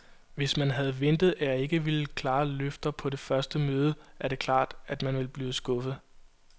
Hvis man havde ventet, at jeg ville give klare løfter på det første møde, er det klart, at man bliver skuffet.